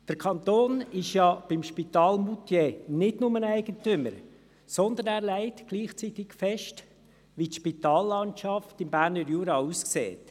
Der Kanton ist beim Spital in Moutier nicht nur Eigentümer, sondern er legt gleichzeitig fest, wie die Spitallandschaft im Berner Jura aussieht.